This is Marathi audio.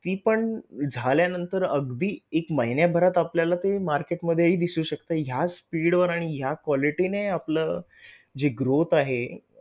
ती पण झाल्यानंतर अगदी एक महिन्याभरात आपल्याला ते market मध्ये हि दिसू शकते ह्याच speed वर आणि ह्या quality ने आपल जी growth आहे